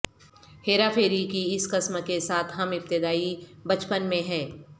ہیرا پھیری کی اس قسم کے ساتھ ہم ابتدائی بچپن میں ہے